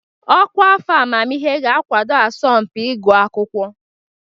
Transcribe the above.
Ọkwa afọ amamihe ga-akwado asọmpi ịgụ akwụkwọ.